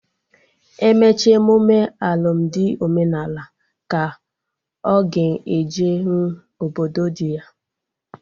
Emecha emụme alụmdi omenala ka ọ ga ejenwu obodo dị ya